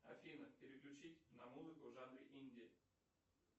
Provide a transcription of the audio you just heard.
афина переключить на музыку в жанре инди